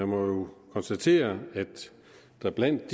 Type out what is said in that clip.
må jo konstatere at der blandt